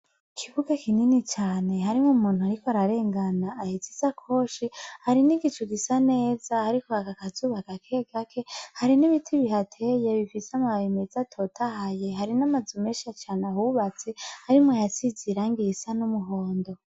Ikibuga kinini cane, harimwo umuntu ariko ararengana ahetse ishakoshi, hari n'igicu gisa neza hariko haka akazuba gakegake, hari n'ibiti bihateye bifise amababi meza atotahaye, hari n'amazu menshi cane ahubatse, harimwo ayasize irangi risa n'umuhondo.